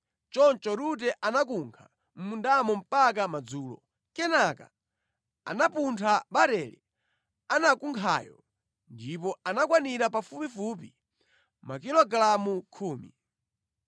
Choncho Rute anakunkha mʼmundamo mpaka madzulo. Kenaka anapuntha barele anakunkhayo, ndipo anakwanira pafupifupi makilogalamu khumi.